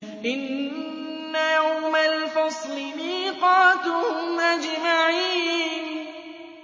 إِنَّ يَوْمَ الْفَصْلِ مِيقَاتُهُمْ أَجْمَعِينَ